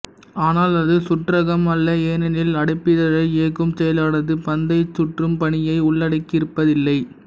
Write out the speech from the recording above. ஆனால் அது சுற்றகம் அல்ல ஏனெனில் அடைப்பிதழை இயக்கும் செயலானது பந்தைச் சுற்றும் பணியை உள்ளடக்கியிருப்பதில்லை